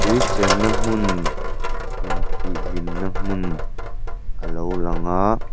tui chenna hmun intih hlimna hmun alo lang a.